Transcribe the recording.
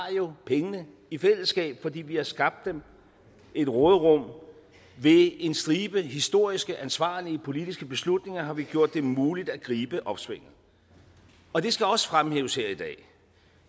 pengene i fællesskab fordi vi har skabt et råderum ved en stribe historiske ansvarlige politiske beslutninger har vi gjort det muligt at gribe opsvinget og det skal også fremhæves her i dag